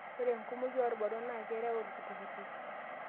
Ore enkumoki oo lbarnot naa kereu ltukutuki